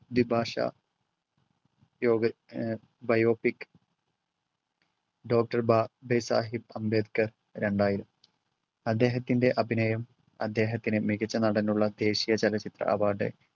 വിഭാഷാ യോഗ ഏർ biopic doctor Saheb Ambedkar രണ്ടായിരം. അദ്ദേഹത്തിൻറെ അഭിനയം അദ്ദേഹത്തിന് മികച്ച നടനുള്ള ദേശീയ ചലച്ചിത്ര അവാർഡ്